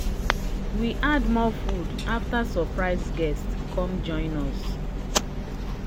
we add more food after surprise guests come join us."